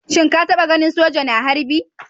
Shin ka taba ganin soja na harbi?